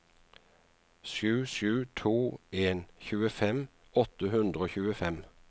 sju sju to en tjuefem åtte hundre og tjuefem